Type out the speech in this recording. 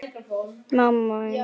Þetta er ótrúleg lykt.